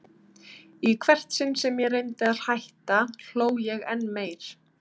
Í hvert sinn sem ég reyndi að hætta hló ég enn meir.